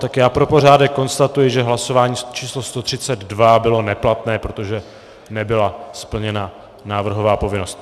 Tak já pro pořádek konstatuji, že hlasování číslo 132 bylo neplatné, protože nebyla splněna návrhová povinnost.